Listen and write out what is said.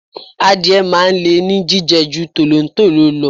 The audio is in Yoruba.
Adìẹ máa ń le ní jíjẹ ju tolontolo lọ.